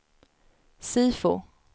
SIFO